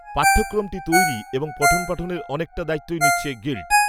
পাঠ্যক্রমটি তৈরি এবং পঠনপাঠনের অনেকটা দায়িত্বই নিচ্ছে গিল্ড